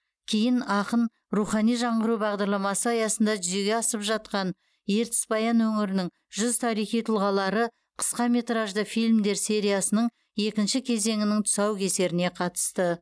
кейін ақын рухани жаңғыру бағдарламасы аясында жүзеге асып жатқан ертіс баян өңірінің жүз тарихи тұлғалары қысқаметражды фильмдер сериясының екінші кезеңінің тұсаукесеріне қатысты